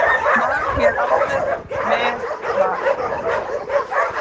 Mar hér áður meri var.